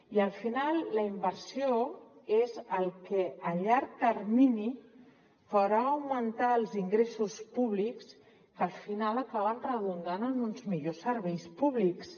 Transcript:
i al final la inversió és el que a llarg termini farà augmentar els ingressos públics que al final acaben redundant en uns millors serveis públics